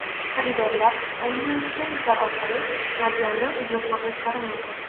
Xaridorlar onlayn-servislar orqali modelni buyurtma qilishlari mumkin.